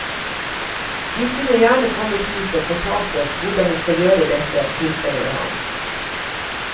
De kunne gjerne kommet hit og fortalt oss hvordan vi skal gjøre dette, tilføyer han.